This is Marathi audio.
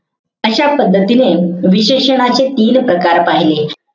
अशा पद्धतीने विशेषणाचे तीन प्रकार पहिले.